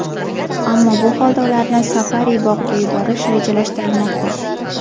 Ammo bu holda ularni safari-bog‘ga yuborish rejalashtirilmoqda.